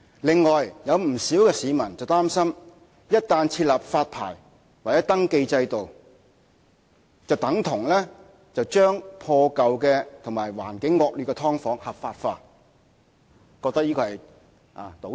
"另外，有不少市民擔心，一旦設立發牌或登記制度，便等同把破舊和環境惡劣的"劏房"合法化，覺得這是種倒退。